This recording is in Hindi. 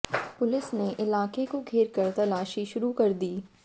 पुलिस ने इलाके को घेरकर तलाशी शुरू कर दी